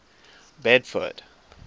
bedford